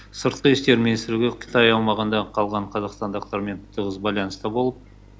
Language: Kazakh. сыртқы істер министрлігі қытай аумағында қалған қазақстандықтармен тығыз байланыста болып